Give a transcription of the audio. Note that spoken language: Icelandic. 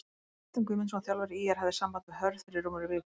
Kristján Guðmundsson þjálfari ÍR hafði samband við Hörð fyrir rúmri viku.